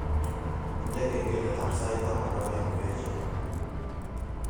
Indene kengeletab sait tan ak aeng ngoeche